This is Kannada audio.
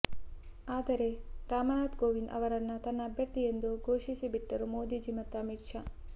ಆದರೆ ರಾಮನಾಥ್ ಕೋವಿಂದ್ ಅವರನ್ನ ತನ್ನ ಅಭ್ಯರ್ಥಿಯೆಂದು ಘೋಷಿಸಿ ಬಿಟ್ಟರು ಮೋದಿಜಿ ಮತ್ತು ಅಮಿತ್ ಶಾ